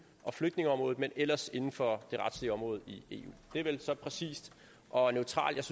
og flygtningeområdet men ellers inden for det retslige område i eu det er vel så præcist og neutralt